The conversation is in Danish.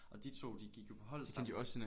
Og de 2 de gik jo på hold sammen